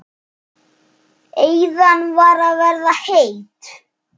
Eyðan er að verða heit.